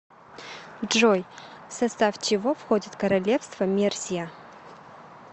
джой в состав чего входит королевство мерсия